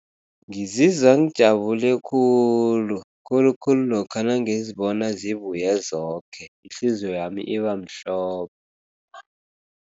Ngizizwa ngijabule khulu khulukhulu lokha nangibona zibuye zoke, ihliziyo yami ibamhlophe.